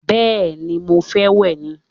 Bẹ́ẹ̀ni, mo fẹ́ wẹ̀ ni